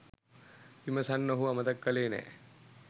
විමසන්න ඔහු අමතක කළේ නෑ.